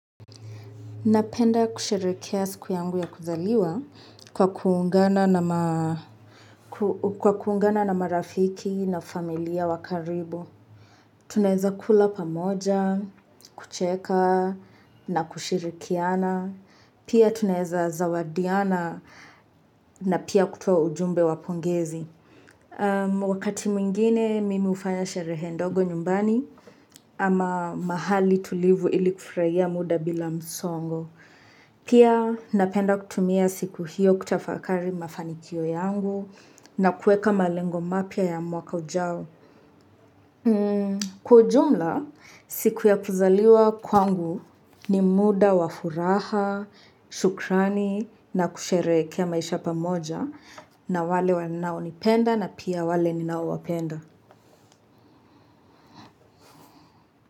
Napenda kusherehekea siku yangu ya kuzaliwa kwa kuungana na marafiki na familia wa karibu. Tunaeza kula pamoja, kucheka na kushirikiana. Pia tunaeza zawadiana na pia kutoa ujumbe wa pongezi. Wakati mwingine mimi ufanya sherehe ndogo nyumbani ama mahali tulivu ili kufurahia muda bila msongo. Pia napenda kutumia siku hiyo kutafakari mafanikio yangu na kuweka malengo mapya ya mwaka ujao. Kwa ujumla, siku ya kuzaliwa kwangu ni muda wa furaha, shukrani na kusherehekea maisha pamoja na wale wanao nipenda na pia wale ninao wapenda.